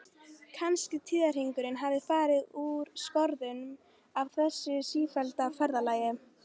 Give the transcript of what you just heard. Kannski tíðahringurinn hafi farið úr skorðum af þessu sífellda ferðalagi?